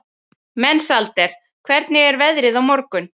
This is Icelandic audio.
Mensalder, hvernig er veðrið á morgun?